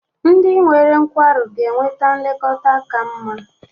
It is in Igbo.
Ndị nwere nkwarụ ga-enweta nlekọta ka mma.